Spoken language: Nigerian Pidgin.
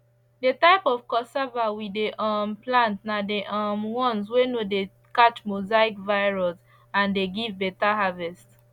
the type of cassava we dey um plant na the um ones wey no dey catch mosaic virus and dey give better harvest